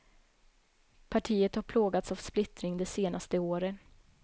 Partiet har plågats av splittring de senaste åren.